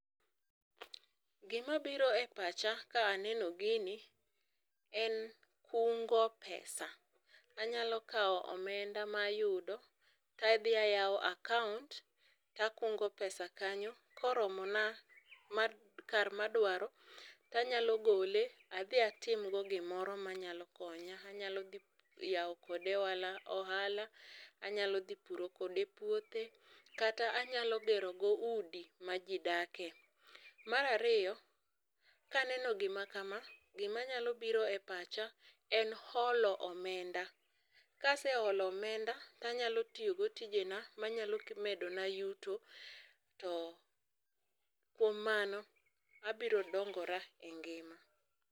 Gima biro e pacha ka aneno gini en kungo pesa, anyalo kaw omenda ma ayudo to adhi ayao account[sc] takungo pesa kanyo koromona kar madwaro tanyalo gole adhi atimgo gimoro manyalo konya, anyalo dhi yao kode ohala, ohala, anyalo dhi pidho kode puothe kata anyala gero go udi ma jii dake. Mar ariyo kaneno gima kama gima nyalo biro e pacha en holo omenda, kaseholo omenda tanyalo tio tijena manyalo medona yuro to kuom mano abiro dongora e ngima